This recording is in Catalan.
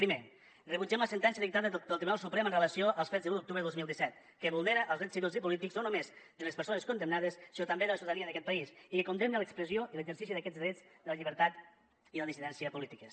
primer rebutgem la sentència dictada pel tribunal suprem amb relació als fets de l’un d’octubre de dos mil disset que vulnera els drets civils i polítics no només de les persones condemnades sinó també de la ciutadania d’aquest país i que condemna l’expressió i l’exercici d’aquests drets la llibertat i la dissidència polítiques